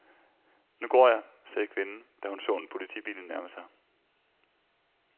Nu går jeg, sagde kvinden, da hun så en politibil nærme sig.